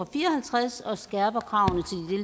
fire og halvtreds og skærper kravene